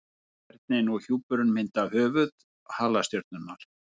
Kjarninn og hjúpurinn mynda höfuð halastjörnunnar.